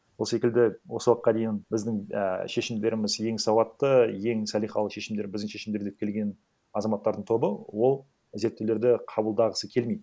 сол секілді осы уақытқа дейін біздің ә шешімдеріміз ең сауатты ең салихалы шешімдер біздің шешімдер деп келген азаматтардың тобы ол зерттеулерді қабылдағысы келмейді